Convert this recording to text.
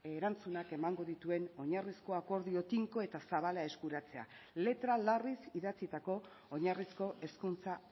erantzunak emango dituen oinarrizko akordio tinko eta zabala eskuratzea letra larriz idatzitako oinarrizko hezkuntza